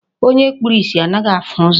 Onye kpuru isi anaghị ahụ ụzọ.